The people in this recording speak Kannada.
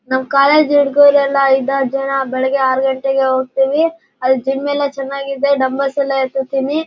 ನಮ್ ಕಾಲೇಜು ಹುಡಗೂರು ಎಲ್ಲ ಐದಾರು ಜನ ಬೆಳಿಗ್ಗೆ ಆರು ಗಂಟೆಗೆ ಹೊಯ್ಥಿವಿ ಅಲ್ಲಿ ಜಿಮ್ ಎಲ್ಲ ಚೆನ್ನಾಗಿದೆ ಡೆಂಬಲ್ಸ ಎಲ್ಲಾ ಎತ್ತತಿನಿ.